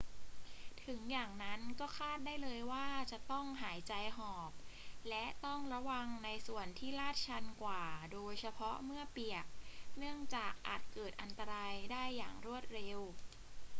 ถึงอย่างนั้นก็คาดได้เลยว่าจะต้องหายใจหอบ และต้องระวังในส่วนที่ลาดชันกว่าโดยเฉพาะเมื่อเปียก เนื่องจากอาจเกิดอันตรายได้อย่างรวดเร็ว